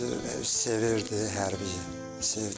Özü sevirdi, hərbini.